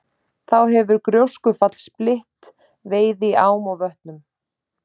Þá hefur gjóskufall spillt veiði í ám og vötnum.